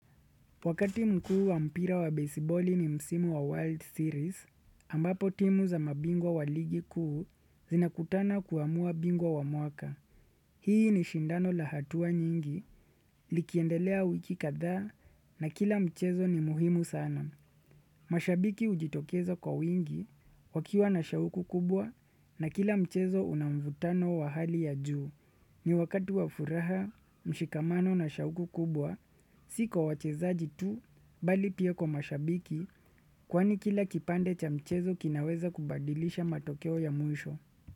Wakati mkuu wa mpira wa baseball ni msimu wa World Series, ambapo timu za mabingwa wa ligi kuu zinakutana kuamua bingwa wa mwaka. Hii ni shindano la hatua nyingi, likiendelea wiki kadha na kila mchezo ni muhimu sana. Mashabiki hujitokezo kwa wingi, wakiwa na shauku kubwa na kila mchezo una mvutano wa hali ya juu. Ni wakati wa furaha, mshikamano na shauku kubwa, si kwa wachezaji tu, bali pia kwa mashabiki, kwani kila kipande cha mchezo kinaweza kubadilisha matokeo ya mwisho.